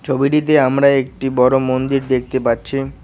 ছবিটিতে আমরা একটি বড়ো মন্দির দেখতে পাচ্ছি।